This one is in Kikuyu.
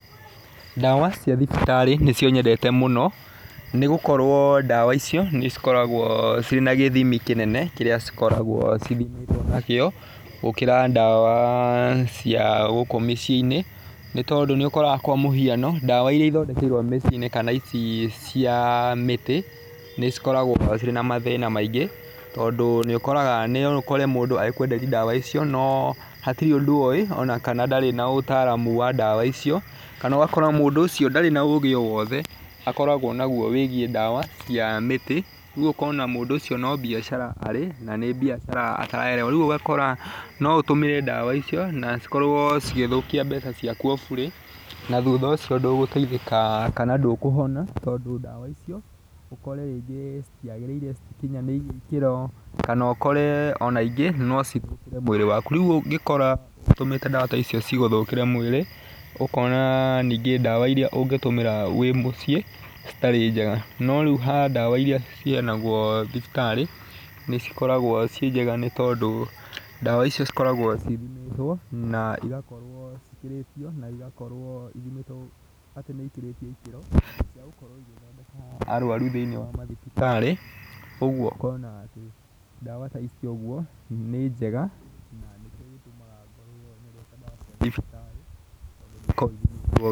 Dawa cia thibitarĩ nĩcio nyendete mũno nĩ gũkorwo dawa icio nĩcikoragwo ciĩna gĩthimi kĩnene kĩrĩa cikoragwo nakĩo gũkĩra dawa ah cia gũkũ mĩciĩ-inĩ nĩ tondũ nĩũkoraga kwa mũhiano dawa iria ithondekeirwo mĩciĩ-inĩ kana ici cia mĩtĩ nĩ cikoragwo cirĩ na mathĩna maingĩ tondũ nĩũkoraga, noũkore mũndũ agĩkwenderia dawa icio noo hatirĩ ũndũ oĩ ona kana ndarĩ na ũtaaramu wa dawa icio. Kana ũgakora mũndũ ũcio ndarĩ na ũũgĩ o wothe akoragwo naguo wĩgiĩ dawa cia mĩtĩ ũguo ũkona mũndũ ũcio no biacara arĩ na nĩ biacara ataraerewa. Rĩu ũgakora no ũtũmĩre dawa icio na cikorwo cigĩthĩkia mbeca ciaku o burĩ na thutha ucio ndũgũteithĩka kana ndũkũhona tondũ dawa icio ũkore rĩngĩ citiagĩrĩire, citikinyanĩire kĩro kana ũkore ona ingĩ nocithũkĩre mwĩrĩ waku. Rĩu ũngĩkora ũtũmĩte dawa ta icio cigũthũkĩre mwĩrĩ ũkona [ah]ningĩ dawa ũngĩtũmĩra wĩ mũciĩ citarĩ njega. No rĩu ha dawa iria ciheanagwo thibitari, nĩcikoragqo ciĩ njega tondũ dawa icio cikoragwo cithimĩtwo na igakorwo cikĩrĩtio na igakorwo ithimĩtwo ati nĩikĩrĩtie ikĩro igĩthondeka arwaru thĩinĩ wa mathibitarĩ kũguo ũkona atĩ dawa ta ici ĩguo nĩ njega na nĩkĩo gĩtũmaga ngorwo nyendete cia thibitarĩ